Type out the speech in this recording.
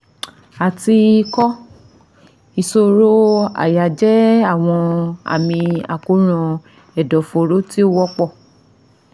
Àti ìkọ, ìṣòro àyà jẹ́ àwọn àmì àkóràn ẹ̀dọ̀fóró tí ó wọ́pọ̀